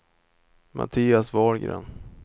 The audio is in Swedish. Mattias Wahlgren